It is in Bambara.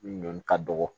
Ɲɔn ka dɔgɔ